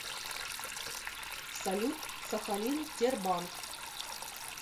салют сахалин тербанк